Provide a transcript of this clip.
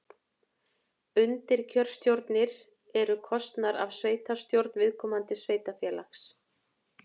Undirkjörstjórnir eru kosnar af sveitastjórn viðkomandi sveitarfélags.